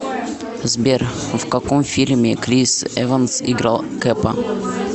сбер в каком фильме крис эванс играл кэпа